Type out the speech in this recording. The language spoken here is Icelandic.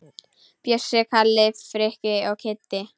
Bjössi, Kalli, Frikki og Kiddi!